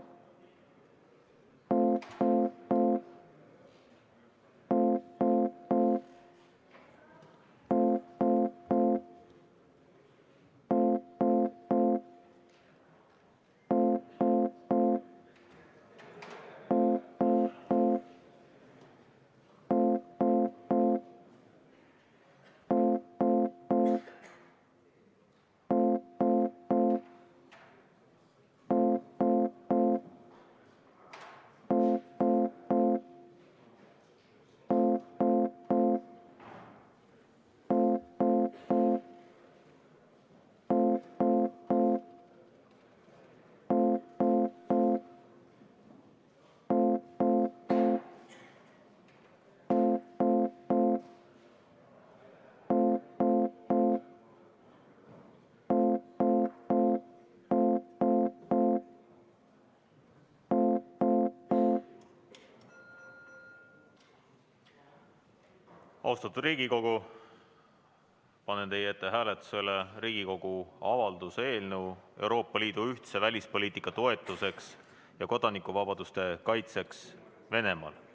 Austatud Riigikogu, panen teie ette hääletusele Riigikogu avalduse "Euroopa Liidu ühtse välispoliitika toetuseks ja kodanikuvabaduste kaitseks Venemaal" eelnõu.